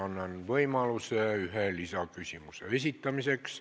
Annan võimaluse ühe lisaküsimuse esitamiseks.